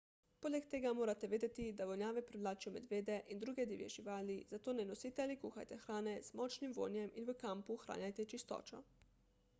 poleg tega morate vedeti da vonjave privlačijo medvede in druge divje živali zato ne nosite ali kuhajte hrane z močnim vonjem in v kampu ohranjajte čistočo